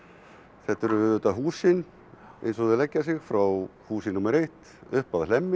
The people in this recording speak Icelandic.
þetta eru auðvitað húsin eins og þau leggja sig frá húsi númer eitt upp að Hlemmi